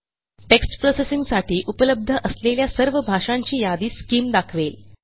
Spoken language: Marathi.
टेक्स्ट प्रोसेसिंग साठी उपलब्ध असलेल्या सर्व भाषांची यादी स्किम दाखवेल